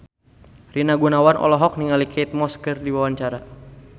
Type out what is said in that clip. Rina Gunawan olohok ningali Kate Moss keur diwawancara